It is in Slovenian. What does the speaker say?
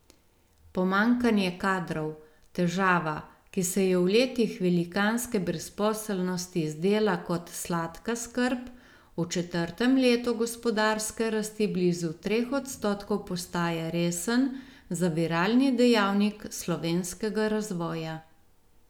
Pomanjkanje kadrov, težava, ki se je v letih velikanske brezposelnosti zdela kot sladka skrb, v četrtem letu gospodarske rasti blizu treh odstotkov postaja resen zaviralni dejavnik slovenskega razvoja.